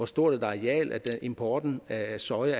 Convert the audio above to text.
stort et areal importen af soja